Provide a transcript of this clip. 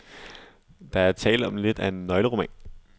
Der er tale om lidt af en nøgleroman.